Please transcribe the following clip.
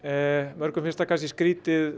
mörgum finnst það kannski skrítið